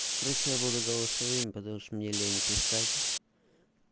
короче я буду голосовыми потому что мне лень писать